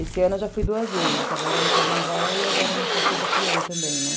Esse ano eu já fui duas vezes, agora no carnaval e agora na festa do peão também, né?